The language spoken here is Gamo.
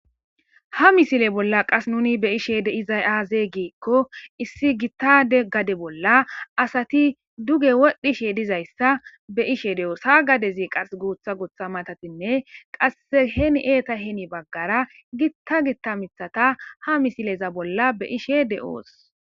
ha misile bolla qas nuni be ishe de izay aazee giikko issi gittade gade bolla asati duge wodhdhishe dizayssa be ishe de7oos ha gadezi qas guutha gotha matatinne qas heni eeta heni baggara gitta gitta mithata ha misileza bolla be ishe de7oos